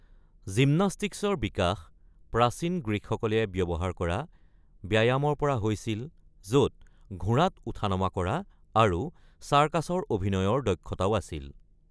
জিমনাষ্টিক্সৰ বিকাশ প্ৰাচীন গ্ৰীকসকলে ব্যৱহাৰ কৰা ব্যায়ামৰ পৰা হৈছিল য'ত ঘোঁৰাত উঠা-নমা কৰা আৰু চাৰ্কাছৰ অভিনয়ৰ দক্ষতাও আছিল।